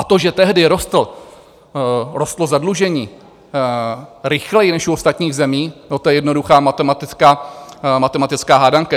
A to, že tehdy rostlo zadlužení rychleji než u ostatních zemí - no, to je jednoduchá matematická hádanka.